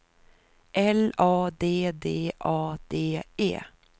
L A D D A D E